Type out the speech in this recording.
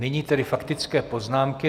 Nyní tedy faktické poznámky.